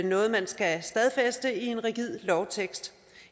noget man skal stadfæste i en rigid lovtekst